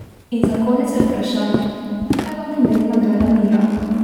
In za konec še vprašanje, kaj vam pomeni nagrada Mira?